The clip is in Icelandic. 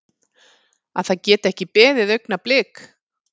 Að það geti ekki beðið augnablik.